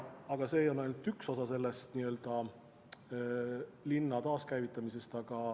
Aga see on ainult üks osa linna taaskäivitamisest.